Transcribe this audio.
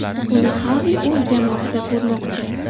Uni Xavi o‘z jamoasida ko‘rmoqchi.